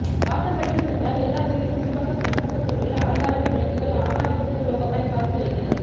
வாசற்படிக்கு சென்றால் எல்லா வீட்டின் முன்பக்க பின்பக்க சுவர்களில் அலங்காரமாய் விளக்குகள்ஆஹா இந்திர லோகமாய்க் காட்சி அளிக்கிறது